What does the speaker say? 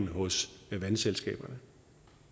hos vandselskaberne